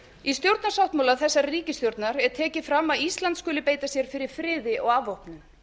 í stjórnarsáttmála þessarar ríkisstjórnar er tekið fram að ísland skuli beita sér fyrir friði og afvopnun